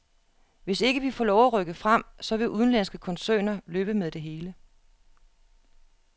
Hvis ikke vi får lov at rykke frem, så vil udenlandske koncerner løbe med det hele.